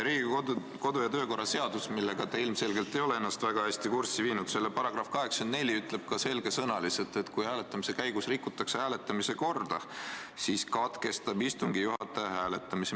Riigikogu kodu- ja töökorra seadus, millega te ilmselgelt ei ole ennast väga hästi kurssi viinud, täpsemalt selle § 84 ütleb selge sõnaga, et kui hääletamise käigus rikutakse hääletamise korda, siis katkestab istungi juhataja hääletamise.